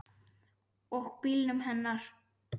Og bílnum hennar.